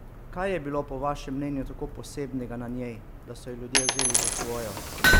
Kaj je bilo po vašem mnenju tako posebnega na njej, da so jo ljudje vzeli za svojo?